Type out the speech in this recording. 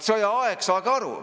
Sõjaaeg, saage aru.